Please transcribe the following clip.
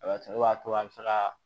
ne b'a to a bɛ se ka